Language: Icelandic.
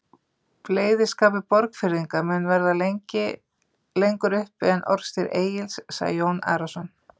Bleyðiskapur Borgfirðinga mun verða lengur uppi en orðstír Egils, sagði Jón Arason.